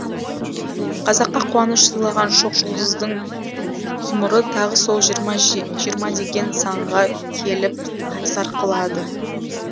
қазаққа қуаныш сыйлаған шоқ жұлдыздың ғұмыры тағы сол жиырма деген санға келіп сарқылады